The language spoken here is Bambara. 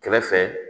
Kɛrɛfɛ